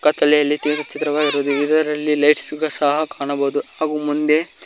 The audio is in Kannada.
ಕತ್ತಲೆಯಲ್ಲಿ ತೆಗೆದಿರುವ ಚಿತ್ರವಾಗಿರಬಹುದು ಇದರಲ್ಲಿ ಲೈಟ್ಸ್ ಗಳು ಸಹ ಕಾಣಬಹುದು ಹಾಗು ಮುಂದೆ--